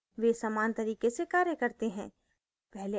वे समान तरीके से कार्य करते हैं